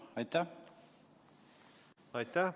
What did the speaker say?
Aitäh!